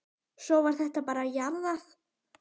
Svo var þetta bara jarðað.